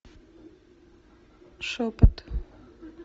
шепот